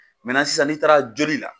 Mɛnan sisan n'i taara joli la.